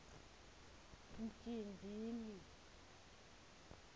mjindini